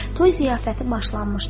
Toy ziyafəti başlanmışdı.